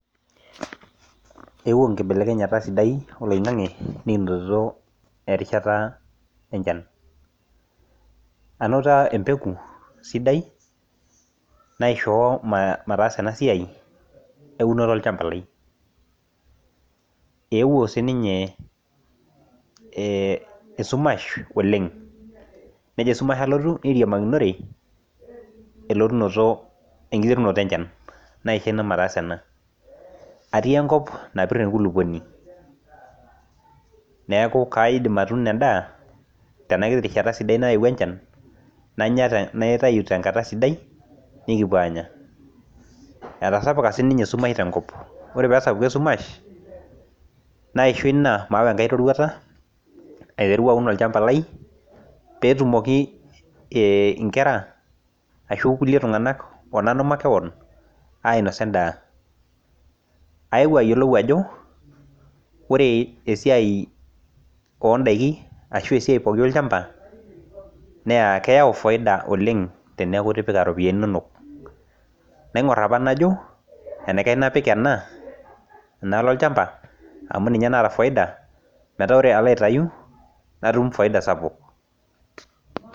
Eewuo nkibelekenyata sidai oloing'ang'e nikinotito erishata enchan anoto empeku sidai naishoo ma mataasa ena siai eunore olchamba lai eewuo sininye eh esumash oleng nejo esumash alotu neiriamakinore elotunoto enkiterunoto enchan naisho ina mataasa ena atii enkop napirr enkulupuoni neaku kaidim atuuno endaa tena kiti rishsta sidai naewuo enchan nanya naitayu tenkata sidai nikipuo aanya etasapuka sininye esumash tenkop ore pesapuku esumash naisho ina maawa enkae roruata aiteru aun olchamba lai petumoki eh inkera ashu kulie tung'anak onanu makewan ainosa endaa aewuo ayiolou ajo ore esiai ondaiki ashu esiai pooki olchamba neya keyau foida oleng teneeku itipika iropiyiani inonok naing'orr aapa najo enaikash napik ena enaalo olchamba amu ninye naata foida metaa ore alo aitayu natum faida sapuk.